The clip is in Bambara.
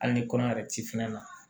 Hali ni kɔɲɔ yɛrɛ ti fɛn na